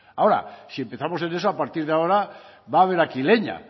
ahora si empezamos en eso a partir de ahora va a haber aquí leña